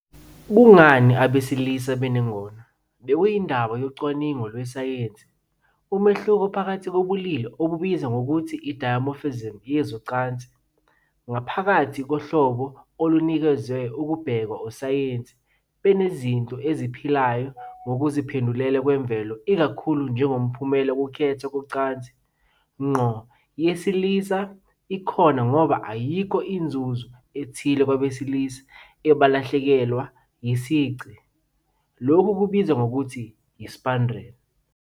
Kungani abesilisa benengono bekuyindaba yocwaningo lwesayensi. Umehluko phakathi kobulili, obubizwa ngokuthi i- dimorphism yezocansi, ngaphakathi kohlobo olunikeziwe kubhekwa ososayensi bezinto eziphilayo ngokuziphendukela kwemvelo ikakhulu njengomphumela wokukhethwa kocansi, ngqo noma ngokungaqondile. Kukhona ukuvumelana ukuthi ingono yesilisa ikhona ngoba ayikho inzuzo ethile kwabesilisa abalahlekelwa yisici, lokhu kubizwa ngokuthi yi- spandrel.